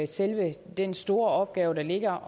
selve den store opgave der ligger